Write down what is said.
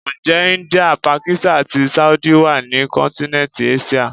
Ǹjẹ́ India, Pakistani àti Saudi wá ní kọ́ntínẹ́ntì Áṣíà?